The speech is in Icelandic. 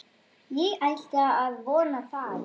Ég ætla að vona það.